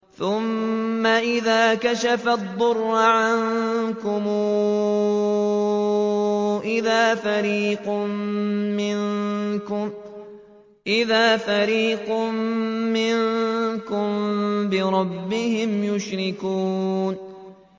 ثُمَّ إِذَا كَشَفَ الضُّرَّ عَنكُمْ إِذَا فَرِيقٌ مِّنكُم بِرَبِّهِمْ يُشْرِكُونَ